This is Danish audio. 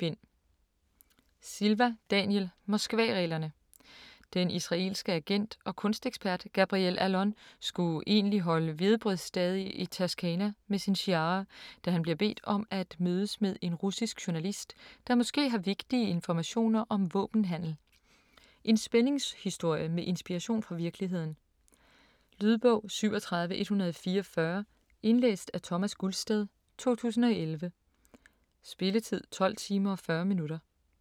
Silva, Daniel: Moskvareglerne Den israelske agent og kunstekspert Gabriel Allon skulle egentlig holde hvedebrødsdage i Toscana med sin Shiara, da han bliver bedt om at mødes med en russisk journalist, der måske har vigtige informationer om våbenhandel. En spændingshistorie med inspiration fra virkeligheden. Lydbog 37144 Indlæst af Thomas Gulstad, 2011. Spilletid: 12 timer, 40 minutter.